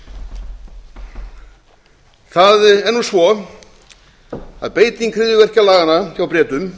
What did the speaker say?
það er nú svo að beiting hryðjuverkalaganna hjá bretum